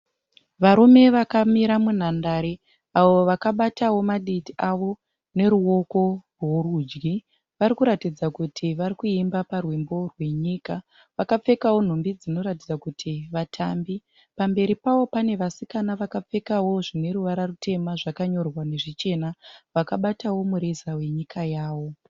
Varume vakamira munhandare avo vakabatawo maditi avo noruoko rworudyi. Vari kuratidza kuti vari kuimba parwumbo rwenyika. Vakapfekawo nhumbi dzinoratidza kuti vatambi. Pamberi pavo pane vasikana vakapfekawo zvine ruvara rutema zvakanyorwa nezvichena vakabatawo mureza wenyika yavo.